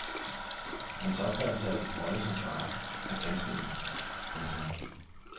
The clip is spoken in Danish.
Hans opfattelse af sin rolle som fader er ganske enkel. punktum